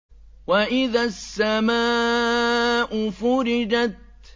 وَإِذَا السَّمَاءُ فُرِجَتْ